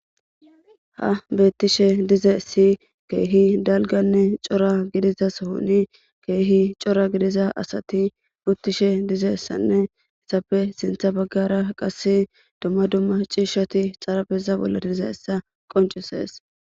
Ha beettishe dize si keehi dalganne cora gidiza sohoni keehi cora gidiza asati muttishe dize essanne essappe sintha baggara qase dumma dumma ciishshati xarabeza bolla diza essa qoncisees.